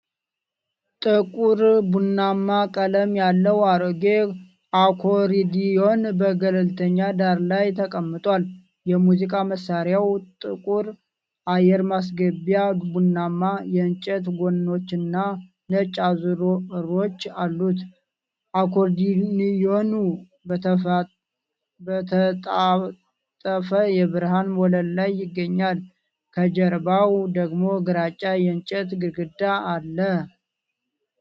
ጥቁርና ቡናማ ቀለም ያለው አሮጌ አኮርዲዮን በገለልተኛ ዳራ ላይ ተቀምጧል። የሙዚቃ መሣሪያው ጥቁር አየር ማስገቢያ፣ ቡናማ የእንጨት ጎኖችና ነጭ አዝራሮች አሉት። አኮርዲዮኑ በተጣጠፈ የብርሃን ወለል ላይ ይገኛል፣ ከጀርባው ደግሞ ግራጫ የእንጨት ግድግዳ አለ።